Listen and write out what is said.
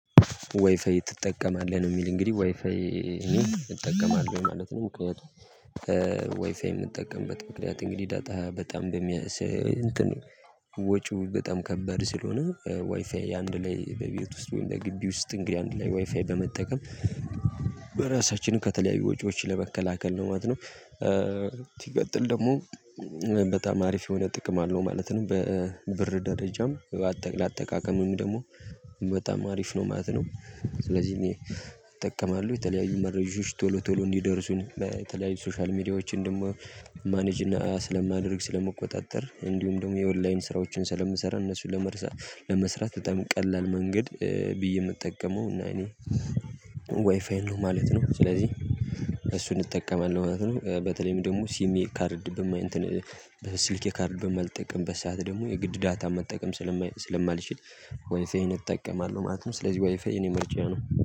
ዋይፋይ ትጠቀማለህ ነው? የሚል እንግዲህ ዋይፋይ እኔ እጠቀማለሁ ማለት ነው። ምክንያቱም ዋይፋይ የምንጠቀምበት ምክንያት እንግዲህ ዳታ በጣም እንትኑ ወጪው በጣም ከበድ ስለሆነ። ዋይፋይ አንድ ላይ በቤት ውስጥ ወይም በግቢ ውስጥ እንግዲህ አንድ ላይ ዋይፋይ በመጠቀም ራሳችንን ከተለያዩ ወጪዎች ለመከላከል ነው ማለት ነው። ሲቀጥል ደግሞ በጣም አሪፍ የሆነ ጥቅም አለው ማለት ነው። በብር ደረጃም ለአጠቃቀምም ደግሞ በጣም አሪፍ ነው ማለት ነው። ስለዚህ እኔ እጠቀማለሁ የተለያዩ መረጃዎች ቶሎ ቶሎ እንዲደርሱኝ በተለያዩ ሶሻል ሚዲያዎችን ደግሞ ማኔጅ ስለማድረግ ስለመቆጣጠር እንዲሁም ደግሞ የኦንላይን ስራዎችን ስለምሰራ እነሱን ለመስራት በጣም ቀላል መንገድ ብዬ የምጠቀመው እና እኔ ዋይፋይ ነው ማለት ነው። ስለዚህ እሱን እንጠቀመን ነው ማለት ነው። በተለይም ደግሞ ሲሜ ካርድ እንትን በስልኬ ካርድ በማልጠቅምበት ሰዓት ደግሞ የግድ ዳታ መጠቀም ስለማልችል ዋይፋዬን እጠቀማለሁ ማለትነው። ስለዚህ ዋይፋዬ የኔ ምርጫ ነው